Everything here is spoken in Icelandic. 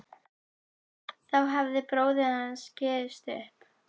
Þá hafði bróðir hans gefist upp.